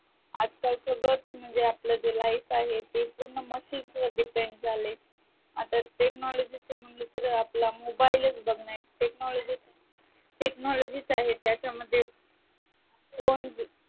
आजकाल सगळंच म्हणजे जे आपलं life आहे ते पूर्ण machine वर depend झालय आता technology च म्हंटल तर आपला mobile च बघणं technology च आहे त्याच्यामध्ये कोण